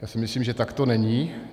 To si myslím, že tak to není.